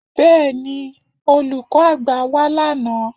Bẹ́ẹ̀ni, Olùkọ́ àgbà wá lánàá